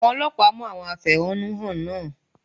Àwọn Ọlọ́pàá mú àwọn afẹ̀họ́nú hàn náà.